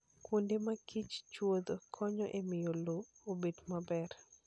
Kuonde ma kiche chuodho konyo e miyo lowo obed maber.